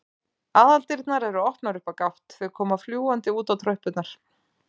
Aðaldyrnar eru opnar upp á gátt, þau koma fljúgandi út á tröppurnar.